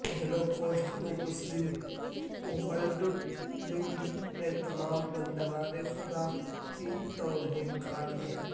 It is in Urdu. ہولوکوسٹ کو مسلم ورلڈ لیگ نےتمام بندگان خدا کی توہین قرار دیا